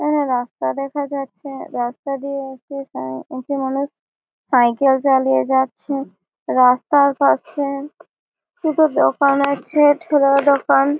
এখানে রাস্তা দেখা যাচ্ছে। রাস্তার দিয়ে একটি সাই একটি মানুষ সাইকেল চালিয়ে যাচ্ছে। রাস্তার পাশে কিছু দোকান আছে ঠেলার দোকান--